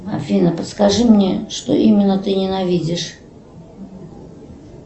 афина подскажи мне что именно ты ненавидишь